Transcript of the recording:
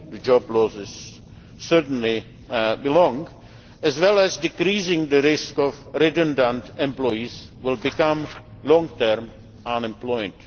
job losses certainly belong, as well as decreasing the risk that redundant employees will become long term unemployed.